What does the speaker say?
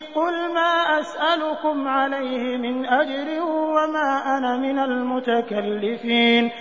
قُلْ مَا أَسْأَلُكُمْ عَلَيْهِ مِنْ أَجْرٍ وَمَا أَنَا مِنَ الْمُتَكَلِّفِينَ